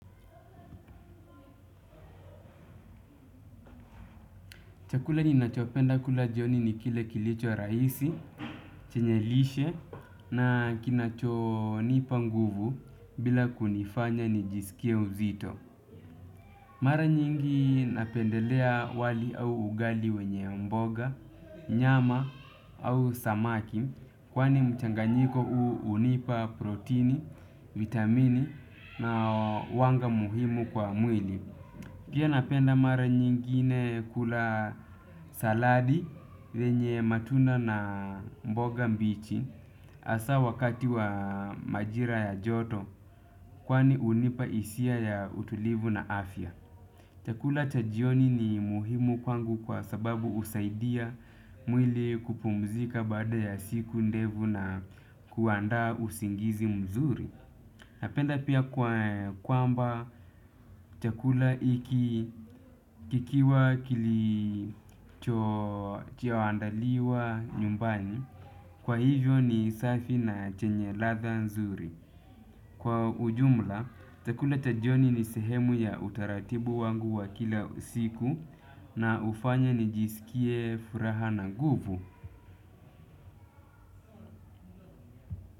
Chakula ninachopenda kula jioni ni kile kilicho rahisi, chenye lishe na kinacho nipa nguvu bila kunifanya nijisikie uzito. Mara nyingi napendelea wali au ugali wenye mboga, nyama au samaki kwani mchanganyiko huu hunipa proteini, vitamini na wanga muhimu kwa mwili. Pia napenda mara nyingine kula saladi venye matunda na mboga mbichi hasa wakati wa majira ya joto. Kwani hunipa hisia ya utulivu na afya. Chakula cha jioni ni muhimu kwangu kwa sababu husaidia mwili kupumzika baada ya siku ndefu na kuandaa usingizi mzuri. Napenda pia kwamba chakula hiki kikiwa kilicho andaliwa nyumbani. Kwa hivyo ni safi na chenye ladha nzuri. Kwa ujumla, chakula cha jioni ni sehemu ya utaratibu wangu wa kila usiku na ufanya nijisikie furaha na nguvu.